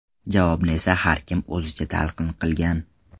Javobni esa har kim o‘zicha talqin qilgan.